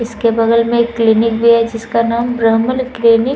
इसके बगल में एक क्लिनिक भी है जिसका नाम ब्रह्मल क्लिनिक --